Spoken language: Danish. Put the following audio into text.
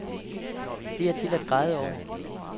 Det er til at græde over.